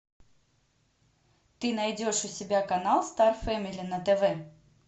ты найдешь у себя канал стар фэмили на тв